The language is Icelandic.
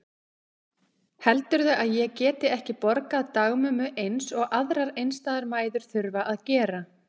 Heldurðu að ég geti ekki borgað dagmömmu eins og aðrar einstæðar mæður þurfa að gera?